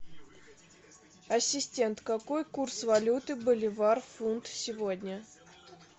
ассистент какой курс валюты боливар фунт сегодня